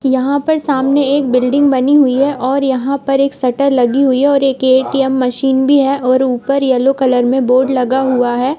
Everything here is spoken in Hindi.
यहाँ पर सामने एक बिल्डिंग बनी हुई है और यहाँ पर एक शटर लगी हुई है। ए_टी_एम भी है और ऊपर येलो कलर में बोर्ड लगा हुआ है।